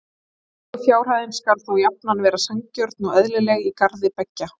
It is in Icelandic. Leigufjárhæðin skal þó jafnan vera sanngjörn og eðlileg í garð beggja.